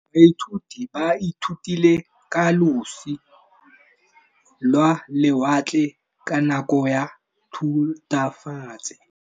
Baithuti ba ithutile ka losi lwa lewatle ka nako ya Thutafatshe.